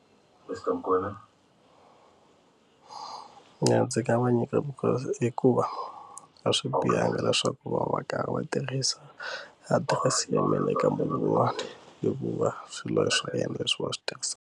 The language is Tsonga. Ya ndzi nga va nyikaka hikuva a swi bihanga leswaku va va karhi va tirhisa adirese ya mina eka man'wani hikuva swilo swa yena leswi va swi tirhisaka.